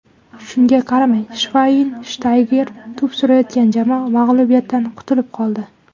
Shunga qaramay, Shvaynshtayger to‘p surayotgan jamoa mag‘lubiyatdan qutulib qoldi.